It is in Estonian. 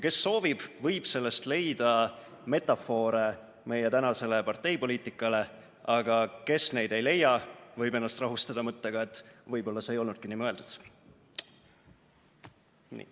Kes soovib, võib sellest leida metafoore meie tänasele parteipoliitikale, aga kes neid ei leia, võib ennast rahustada mõttega, et võib-olla see ei olnudki nii mõeldud.